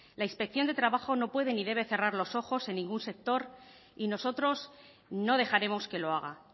la inspección de trabajo no puede ni debe cerrar los ojos en ningún sector y nosotros no dejaremos que lo haga